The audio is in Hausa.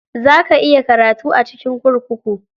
Za ka iya karatu a cikin kurkuku.